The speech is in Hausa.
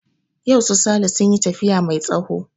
Yau su sale sun yi tafiya mai tsawo